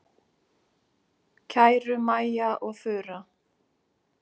Kæru Maja og Þura.